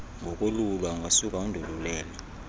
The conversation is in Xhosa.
ngokolulwa ungasuka undolulele